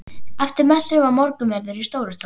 Eftir messu var morgunverður í Stórustofu.